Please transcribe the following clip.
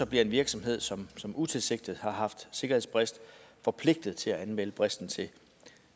bliver en virksomhed som som utilsigtet har haft sikkerhedsbrist forpligtet til at anmelde bristen til